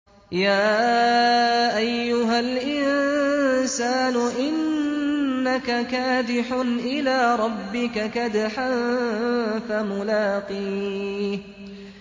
يَا أَيُّهَا الْإِنسَانُ إِنَّكَ كَادِحٌ إِلَىٰ رَبِّكَ كَدْحًا فَمُلَاقِيهِ